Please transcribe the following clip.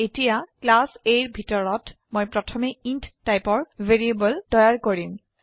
এতোয়া class A ৰ ভিতৰত মই প্ৰথমে ইণ্ট টাইপৰ ভ্যাৰিয়েবল তৈয়াৰ কৰিম